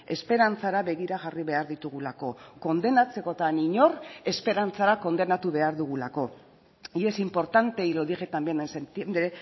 esperantzara begira jarri behar ditugulako kondenatzekotan inor esperantzara kondenatu behar dugulako y es importante y lo dije también en septiembre